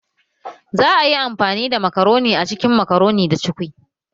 Za a yi amfani da makaroni a cikin makaroni da cukwi